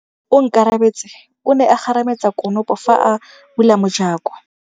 Onkabetse o ne a kgarametsa konopô fa a bula mojakô.